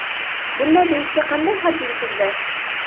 Bunday deyishga qanday hadding sig‘di?